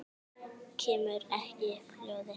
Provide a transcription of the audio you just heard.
Kemur ekki upp hljóði.